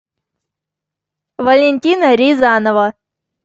валентина рязанова